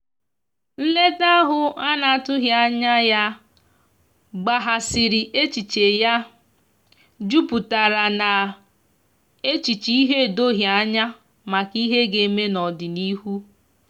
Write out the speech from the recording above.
nleta ahu ana atughi anya ya gbaghasiri echiche ya juputara na echiche ihe edoghi anya maka ihe ga-eme n'odịnihu